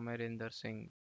ಅಮರೀಂದರ್‌ಸಿಂಗ್‌